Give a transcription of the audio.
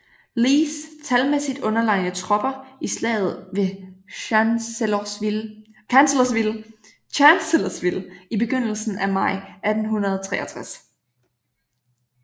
Lees talmæssigt underlegne tropper i Slaget ved Chancellorsville i begyndelsen maj 1863